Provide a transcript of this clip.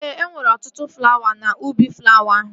Ee, e nwere ọtụtụ flawa n'ubi flawa ahụ